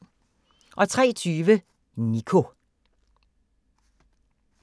03:20: Nico